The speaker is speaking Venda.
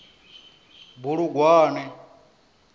bulugwane